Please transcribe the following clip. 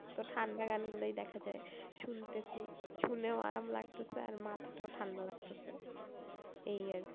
তো ঠান্ডা গান গুলোই দেখা যায়। শুনতেছি শুনেও আরাম লাগতেছে আর মাথাটাও ঠান্ডা লাগতেছে এই আর কি।